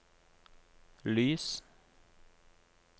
lys